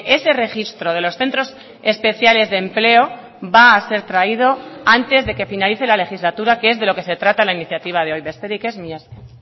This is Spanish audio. ese registro de los centros especiales de empleo va a ser traído antes de que finalice la legislatura que es de lo que se trata la iniciativa de hoy besterik ez mila esker